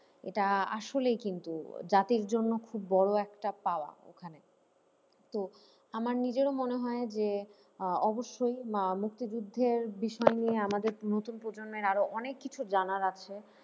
এটা আ~আসলেই কিন্তু জাতির জন্য খুব বড় একটা পাওয়া ওখানে তো আমার নিজেরও মনে হয় যে আহ অবশ্যই বা মুক্তিযুদ্ধের বিষয় নিয়ে আমাদের নতুন প্রজন্মের আরো অনেক কিছু জানার আছে।